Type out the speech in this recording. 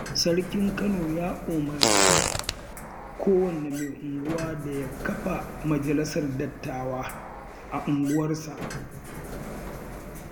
Sarkin Kano ya umarci kowane mai unguwa da ya kafa Majalisar Dattawa a unguwarsa.